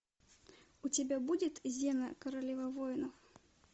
у тебя будет зена королева воинов